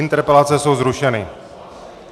Interpelace jsou zrušeny.